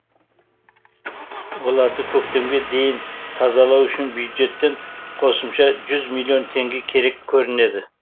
оларды көктемге дейін тазалау үшін бюджеттен қосымша жүз миллион теңге керек көрінеді